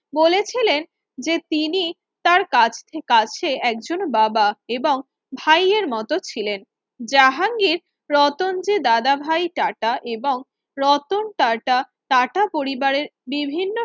বলেছিলেন যে তিনি তার কাছে একজন বাবা এবং ভাইয়ের মত ছিলেন জাহাঙ্গীর রতন যে দাদাভাই টাটা এবং রতন টাটা টাটা পরিবারের বিভিন্ন